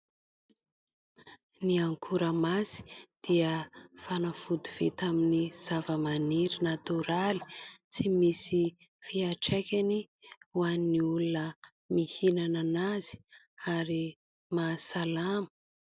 Ny ankoramasy dia fanafody vita avy amin'ny zavamaniry natoraly, tsy misy fiantraikany ho an'ny olona mihinana anazy ary mahasalama.